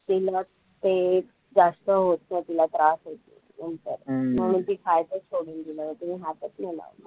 तिला ते एक जास्त होतं. तिला त्रास होतो नंतर म्हणून ती खायचचं सोडून दिलं आणि तिने हातचं नाही लावला.